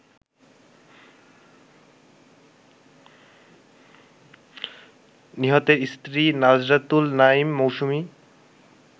নিহতের স্ত্রী নাজরাতুল নাইম মৌসুমী